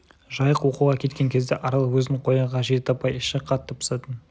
жайық оқуға кеткен кезде арал өзін қоярға жер таппай іші қатты пысатын